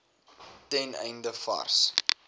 ten einde vars